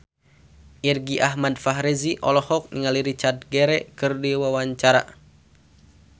Irgi Ahmad Fahrezi olohok ningali Richard Gere keur diwawancara